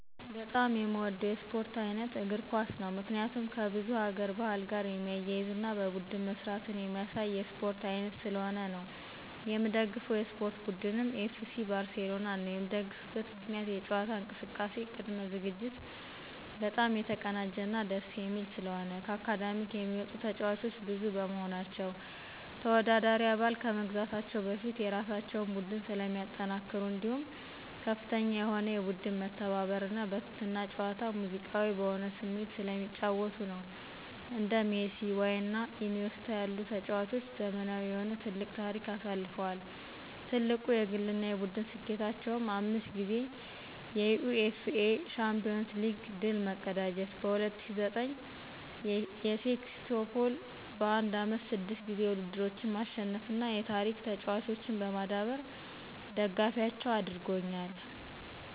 በጣም የምወደው የስፖርት ዓይነት እግር ኳስ ነው። ምክንያቱም ከብዙ ሀገር ባህል ጋር የሚያያዝና በቡድን መስራትን የሚያሳይ የስፖርት ዓይነት ስለሆነ ነው። የምደግፈው የስፖርት ቡድንም ኤፍሲ ባርሴሎናን ነዉ። የምደግፍበት ምክንያትም የጨዋታ እንቅስቃሴ ቅድመ በጣም የተቀናጀና ደስ የሚል ስለሆነ፣ ከአካዳሚክ የሚወጡ ተጫዋቾች ብዙ በመሆናቸው፣ ተወዳዳሪ አባል ከመግዛታቸው በፊት የራሳቸውን ቡድን ስለሚያጠናክሩ እንዲሁም ከፍተኛ የሆነ የቡድን መተባበርና በትህትና ጨዋታ ሙዚቃዊ በሆነ ስሜት ስለሚጫወቱ ነዉ። እንደ ሜሲ፣ ዋይና ኢኒዬስታ ያሉ ተጫዋቾች ዘመናዊ የሆነ ትልቅ ታሪክ አሳልፈዋል። ትልቁ የግልና የቡድን ስኬታቸውም 5 ጊዜ የዩኢኤፍኤ ሻምፒዮንስ ሊግ ድል መቀዳጀት፣ በ2009 የሴክስቶፖል በአንድ ዓመት 6 ጊዜ ውድድሮችን ማሸነፍና የታሪክከፍተኛ ተጫዋቾችን በማዳበር ደጋፊያቸው አድርጎኛል።